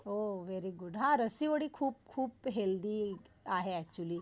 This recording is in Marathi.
वो वेरी गुड ह्ह. रस्सी उडी खूप खूप हेल्दी आहे अक्चुअली.